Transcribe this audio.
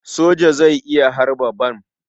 Soja zai iya harba bam.